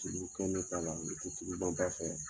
Tulu kɛ ne ta la ne tɛ tuluban ta fɛ.